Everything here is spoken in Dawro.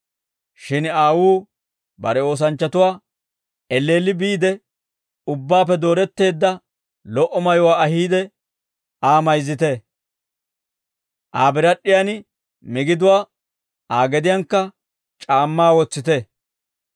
«Shin aawuu bare oosanchchatuwaa, ‹Elleelli biide, ubbaappe dooretteedda lo"o mayuwaa ahiide, Aa mayzzite; Aa birad'd'iyan migiduwaa, Aa gediyankka c'aammaa wotsite.